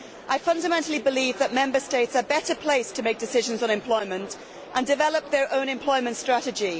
I fundamentally believe that Member States are better placed to make decisions on employment and develop their own employment strategy.